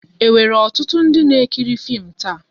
E nwèrè ọtụtụ ndị n'ekiri fim taa?